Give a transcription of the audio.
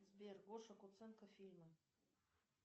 сбер гоша куценко фильмы